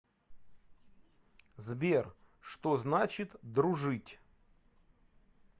сбер что значит дружить